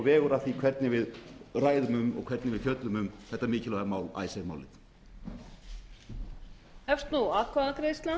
vegur að því hvernig við ræðum um og hvernig við fjöllum þetta mikilvæga mál icesave málið